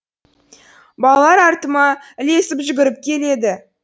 балалар артыма ілесіп жүгіріп келеді